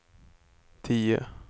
tio